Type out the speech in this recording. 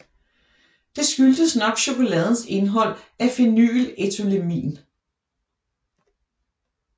Det skyldtes nok chokoladens indhold af phenylethylamin